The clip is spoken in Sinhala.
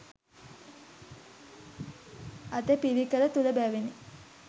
අටපිරිකර තුළ බැවිනි.